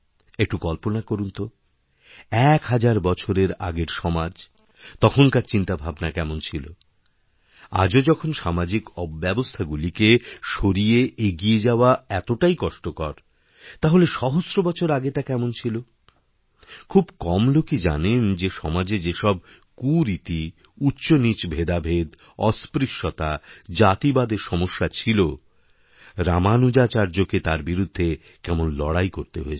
একটু কল্পনা করুন তো এক হাজার বছরের আগের সমাজ তখনকারচিন্তাভাবনা কেমন ছিল আজও যখন সামাজিক অব্যবস্থাগুলিকে সরিয়ে এগিয়ে যাওয়া এতটাইকষ্টকর তাহলে সহস্র বছর আগে তা কেমন ছিল খুব কম লোকই জানেন যে সমাজে যেসবকুরীতি উচ্চনীচ ভেদাভেদ অস্পৃশ্যতা জাতিবাদের সমস্যা ছিল রামানুজাচার্যকেতার বিরুদ্ধে কেমন লড়াই করতে হয়েছিল